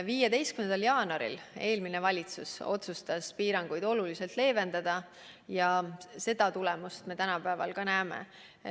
15. jaanuaril otsustas eelmine valitsus piiranguid oluliselt leevendada ja seda tagajärge me täna näeme.